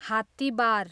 हात्तिबार